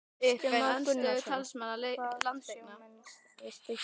Kristján Már Unnarsson: Hvað sjá menn við Stykkishólm?